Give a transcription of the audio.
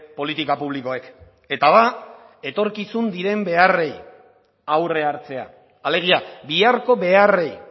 politika publikoek eta da etorkizun diren beharrei aurre hartzea alegia biharko beharrei